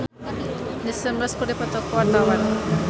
Irgi Ahmad Fahrezi jeung Jason Mraz keur dipoto ku wartawan